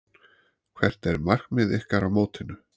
Hvert er markmið ykkar á mótinu?